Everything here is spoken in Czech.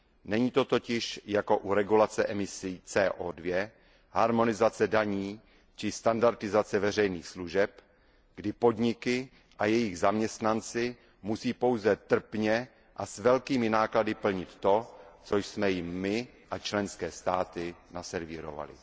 Není to totiž jako u regulace emisí CO 2 harmonizace daní či standardizace veřejných služeb, kdy podniky a jejich zaměstnanci musí pouze trpně a s velkými náklady plnit to, co jsme jim my a členské státy naservírovali.